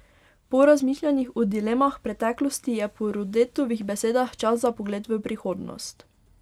Po razmišljanjih o dilemah preteklosti je po Rodetovih besedah čas za pogled v prihodnost.